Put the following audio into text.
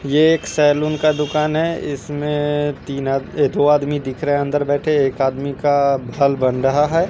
ये एक सैलून का दुकान है इसमे तीन आद अ दो आदमी दिख रहे है अंदर बैठे एक आदमी का बाल बन रहा है।